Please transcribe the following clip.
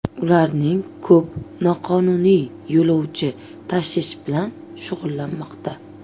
Ularning ko‘p noqonuniy yo‘lovchi tashish bilan shug‘ullanmoqda.